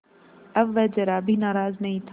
अब वह ज़रा भी नाराज़ नहीं था